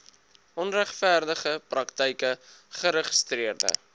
onregverdige praktyke geregistreede